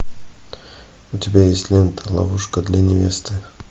у тебя есть лента ловушка для невесты